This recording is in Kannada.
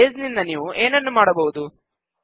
ಬೇಸ್ ನಿಂದ ನೀವು ಏನನ್ನು ಮಾಡಬಹುದು